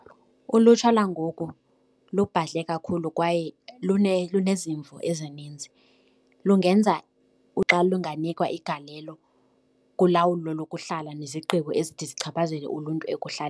Ulutsha langoku lubhadle kakhulu kwaye lunezimvo ezininzi. Lungenza xa lunganikwa igalelo kulawulo lokuhlala nezigqibo ezithi zichaphazele uluntu .